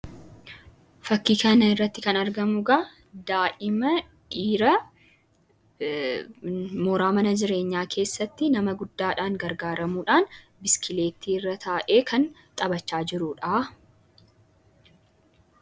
Fakkii kanarratti kan argamugaa daa'imman dhiiraa mooraa mana jireenyaa keessatti nama guddaadhaan gargaaramuudhaan biskileetti irra taa'ee kan xabachaa jiruudha.